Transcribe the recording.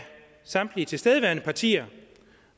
samtlige tilstedeværende partier